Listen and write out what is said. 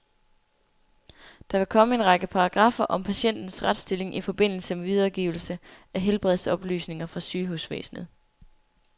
Der vil komme en række paragraffer om patientens retsstilling i forbindelse med videregivelse af helbredsoplysninger fra sygehusvæsenet.